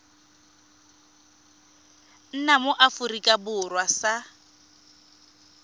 nna mo aforika borwa sa